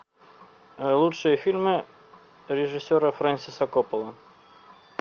лучшие фильмы режиссера фрэнсиса копполы